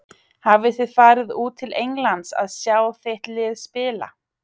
Hafið þið farið út til Englands að sjá þitt lið spila?